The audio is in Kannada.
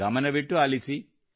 ಗಮನವಿಟ್ಟುಆಲಿಸಿ